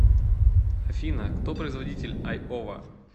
афина кто производитель айова